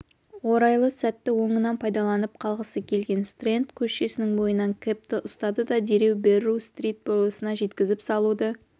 орайлы сәтті оңынан пайдаланып қалғысы келген стрэнд көшсінің бойынан кэбті ұстады да дереу берру-стрит бұрылысына жткізіп салуды